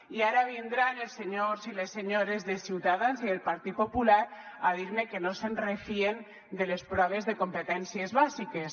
i ara vindran els senyors i les senyores de ciutadans i del partit popular a dir me que no se’n refien de les proves de competències bàsiques